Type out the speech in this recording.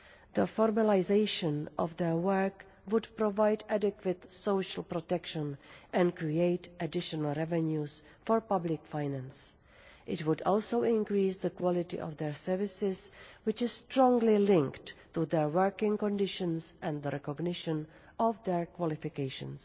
The formalisation of their work would provide adequate social protection and create additional revenues for public finance. It would also increase the quality of their services, which is strongly linked to their working conditions and the recognition of their qualifications.